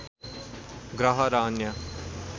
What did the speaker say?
ग्रह र अन्य